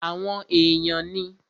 Àwọn èèyàn ní